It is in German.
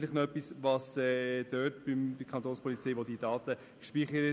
Vielleicht hören wir noch, wo die Kantonspolizei diese Daten speichert.